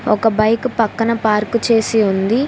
ఒక బైకు పక్కన పార్కు చేసి ఉంది.